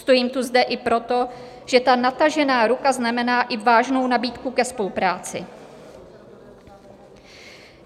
Stojím tu zde i proto, že ta natažená ruka znamená i vážnou nabídku ke spolupráci.